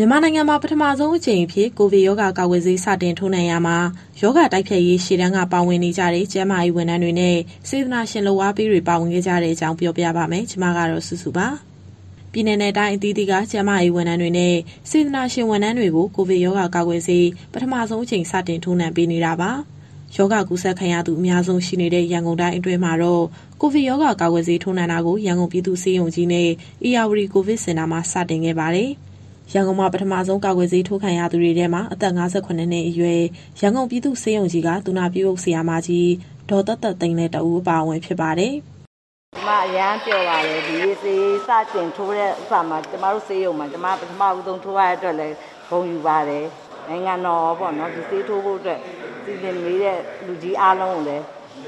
မြန်မာနိုင်ငံမှာ ပထမဆုံးအကြိမ်အဖြစ် ကိုဗစ်ရောဂါကာကွယ်ဆေး စတင်ထိုးနှံရာမှာ ရောဂါတိုက်ဖျက်ရေး ရှေ့တန်းက ပါဝင်နေကြတဲ့ ကျန်းမာရေးဝန်ထမ်းတွေနဲ့ စေတနာရှင်လုပ်အားပေးတွေ ပါဝင်ခဲ့ကြတဲ့အကြောင်း ပြောပြပါမယ်။ ဗွီအိုအေမြန်မာပိုင်းသတင်းထောက် မစုစုက သတင်းပေးပို့ထားပါတယ်။ ပြည်နယ်နဲ့ တိုင်းအသီးသီးက ကျန်းမာရေးဝန်ထမ်းတွေနဲ့ စေတနာဝန်ထမ်းတွေကို ကိုဗစ်ရောဂါကာကွယ်ဆေး ပထမဆုံးအကြိမ် စတင်ထိုးနှံပေးနေတာပါ။ ရောဂါကူးစက်ခံရသူ အများဆုံးရှိနေတဲ့ ရန်ကုန်တိုင်းအတွင်းမှာတော့ ကိုဗစ်ရောဂါ ကာကွယ်ဆေးထိုးနှံတာကို ရန်ကုန်ပြည်သူ့ဆေးရုံကြီးနဲ့ ဧရာဝတီကိုဗစ်စင်တာမှာ စတင်ခဲ့ပါတယ်။ ရန်ကုန်မှာ ပထမဆုံး ကာကွယ်ဆေးထိုးခံရသူတွေထဲမှာတော့ အသက် ၅၇ နှစ်အရွယ် ရန်ကုန်ပြည်သူ့ဆေးရုံကြီးက သူနာပြုအုပ် ဆရာမကြီး ဒေါ်သက်သက်သိန်းလည်း တဦးအပါအဝင် ဖြစ်ပါတယ်။ "ကျမအရမ်းပျော်ပါတယ်။ ဒီနေ့ဆေးစတင်ထိုးတဲ့နေ့မှာ ကျမတို့ဆေးရုံမှာ ကျမ ပထမဦးဆုံးထိုးရတဲ့အတွက်လည်း ဂုဏ်ယူပါတယ်။ နိုင်ငံတော်ရောပေါ့နော်... ဒီဆေးထိုးဖို့အတွက် စီစဉ်ပေးတဲ့ လူကြီးအားလုံးကိုလည်း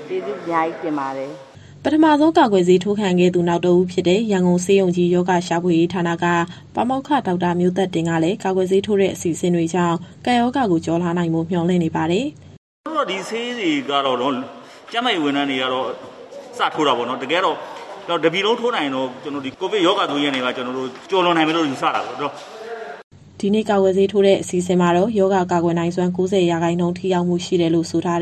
ကျေးဇူးအများကြီးတင်ပါတယ်။" ပထမဆုံး ကာကွယ်ဆေးထိုးခံခဲ့သူ နောက်တဦးဖြစ်တဲ့ ရန်ကုန်ဆေးရုံကြီး ရောဂါရှာဖွေရေးဌာနက ပါမောက္ခ ဒေါက်တာမျိုးသက်တင်ကလည်း ကာကွယ်ဆေးထိုးတဲ့ အစီအစဉ်တွေကြောင့် ကပ်ရောဂါကို ကျော်လွှားနိုင်ဖို့ မျှော်လင့်နေပါတယ်။ "အခုတော့ ဒီဆေးတွေကတော့ ကျန်းမာရေးဝန်ထမ်းတွေကတော့ စထိုးတာပေါ့နော်။ တကယ်ကတော့ တပြည်လုံးထိုးနိုင်ရင်တော့ ဒီကိုဗစ်ရောဂါဆိုးကြီးကနေပြီးတော့ ကျနော်တို့ကျော်လွန်နိုင်မယ်လို့ ယူဆတာပေါ့နော်။" ဒီနေ့ ကာကွယ်ဆေးထိုးတဲ့ အစီအစဉ်မှာတော့ ရောဂါကာကွယ်နိုင်စွမ်း ၉၀ ရာခိုင်နှုန်း ထိရောက်မှု ရှိတယ်လို့ဆိုတဲ့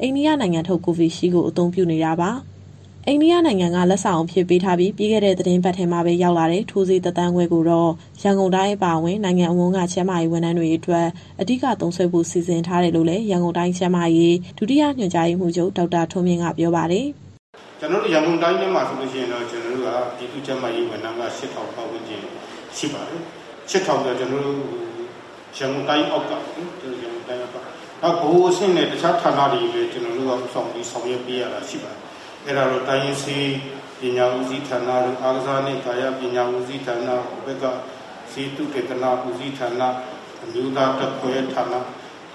အိန္ဒိယနိုင်ငံထုတ် Covishield ကို အသုံးပြုနေတာပါ။ အိန္ဒိယနိုင်ငံက လက်ဆောင်အဖြစ်ပေးထားပြီး ပြီးခဲ့တဲ့ သီတင်းပတ်ထဲမှာပဲ ရောက်လာတဲ့ ထိုးဆေး ၁ သန်းခွဲကိုတော့ ရန်ကုန်တိုင်း အပါအဝင် နိုင်ငံအဝန်းက ကျန်းမာရေးဝန်ထမ်းတွေအတွက် အဓိက သုံးစွဲဖို့ စီစဉ်ထားတယ်လို့လည်း ရန်ကုန်တိုင်းကျန်းမာရေး၊ ဒုတိယညွှန်ကြားရေးမှူးချုပ် ဒေါက်တာထွန်းမြင့်က ပြောပါတယ်။ "ကျနော်တို့ ရန်ကုန်တိုင်းထဲမှာတော့ ပြည်သူ့ကျန်းမာရေးဝန်ထမ်းက ၈,၀၀၀ ပတ်ဝန်းကျင်ရှိပါတယ်။ ၈,၀၀၀ ကျော်ဆိုတာ ကျနော်တို့ ရန်ကုန်တိုင်းအောက်ကပေါ့နော်။ နောက် ဗဟိုအဆင့်နဲ့ တခြားဌာနတွေကိုလည်း ကျနော်တို့က ဦးဆောင်ပြီး ဆောင်ရွက်ပေးရတာရှိပါတယ်။ အဲဒါတော့ တိုင်းရင်းဆေးပညာဦးစီးဌာန၊ အားကစားနှင့် ကာယပညာဦးစီးဌာန၊ ဆေးသုတေသနဦးစီးဌာန၊ အမျိုးသားဓာတ်ခွဲဌာန၊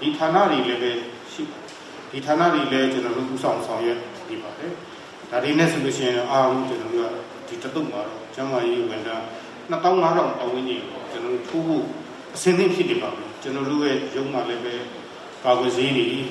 ဒီဌာနတွေကိုလည်း ကျနော်တို့ဦးဆောင် ဆောင်ရွက်နေပါတယ်။ ဒါတွေနဲ့ဆိုရင်တော့ အားလုံး ကျနော်တို့က ဒီတသုတ်မှာတော့ ကျန်းမာရေးဝန်ထမ်း ၂၅,၀၀၀ ပတ်ဝန်းကျင်ကို ထိုးဖို့အဆင်သင့်ဖြစ်နေပါပြီ။ ကျနော်တို့ရဲ့ရုံးမှာလည်းပဲ ကာကွယ်ဆေးတွေအပြည့်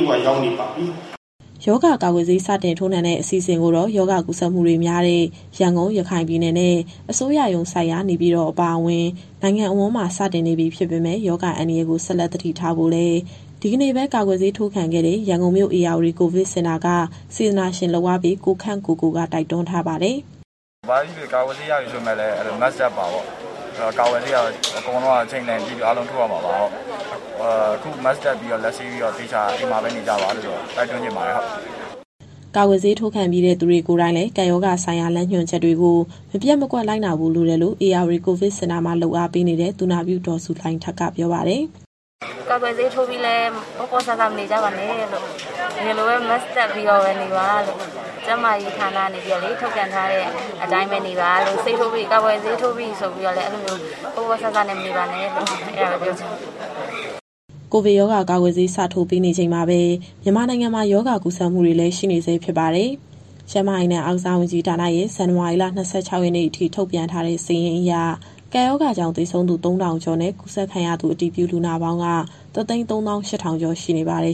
အဝ ရောက်နေပါပြီ။" ရောဂါကာကွယ်ဆေး စတင်ထိုးနှံတဲ့ အစီအစဉ်ကိုတော့ ရောဂါကူးစက်မှုတွေများတဲ့ ရန်ကုန်၊ ရခိုင်ပြည်နယ်နဲ့ အစိုးရရုံးစိုက်ရာ နေပြည်တော် အပါအဝင် နိုင်ငံအဝန်းမှာ စတင်နေပြီ ဖြစ်ပေမဲ့ ရောဂါအန္တရာယ်ကို ဆက်လက်သတိထားဖို့လည်း ဒီကနေ့ပဲ ကာကွယ်ဆေးထိုးခံခဲ့တဲ့ ရန်ကုန်မြို့ ဧရာဝတီကိုဗစ်စင်တာက စေတနာရှင်လုပ်အားပေး ကိုခန့်ကိုကိုက တိုက်တွန်းထားပါတယ်။ "ဘာပဲဖြစ်ဖြစ် ကာကွယ်ဆေးရပြီဆိုပေမဲ့လည်း Mask တပ်ပါပေါ့။ ကာကွယ်ဆေးကတော့ အချိန်တန်ရင် အားလုံးထိုးရမှာပါ။ အခု Mask တပ်ပြီး၊ လက်ဆေးပြီးတော့ အိမ်မှာပဲသေချာနေကြပါလို့ တိုက်တွန်းချင်ပါတယ်။" ကာကွယ်ဆေးထိုးခံပြီးတဲ့ သူတွေကိုယ်တိုင်လည်း ကပ်ရောဂါဆိုင်ရာ လမ်းညွှန်ချက်တွေကို မပျက်မကွက် လိုက်နာဖို့ လိုတယ်လို့လည်း ဧရာဝတီကိုဗစ်စင်တာမှာ လုပ်အားပေးနေတဲ့ သူနာပြု ဒေါ်ဇူလိုင်ထက်ကပြောပါတယ်။ "ကာကွယ်ဆေးထိုးပြီးလည်း ပေါ့ပေါ့ဆဆ မနေကြပါနဲ့လို့။ အရင်လိုပဲ Mask တပ်ပြီးနေပါလို့။ ကျန်းမာရေးဌာနကနေ ထုတ်ပြန်ထားတဲ့အတိုင်းပဲ နေပါလို့။ ကာကွယ်ဆေးထိုးပြီးပြီဆိုပြီးတော့ ပေါ့ပေါ့ဆဆ မနေပါနဲ့လို့ အဲဒါပဲပြောချင်ပါတယ်။" ကိုဗစ်ရောဂါကာကွယ်ဆေး စထိုးပေးနေချိန်မှာပဲ မြန်မာနိုင်ငံမှာ ရောဂါကူးစက်မှုတွေလည်း ရှိနေဆဲဖြစ်ပါတယ်။ ကျန်းမာရေးနဲ့ အားကစားဝန်ကြီးဌာနရဲ့ ဇန်နဝါရီလ ၂၆ ရက်နေ့အထိ ထုတ်ပြန်ထားတဲ့စာရင်းအရ ကပ်ရောဂါကြောင့် သေဆုံးသူ ၃,၀၀၀ ကျော်နဲ့ ကူးစက်ခံရသူ အတည်ပြုလူနာပေါင်းက ၁၃၈,၀၀၀ ကျော်ရှိနေပါတယ်